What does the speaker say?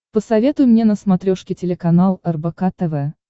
посоветуй мне на смотрешке телеканал рбк тв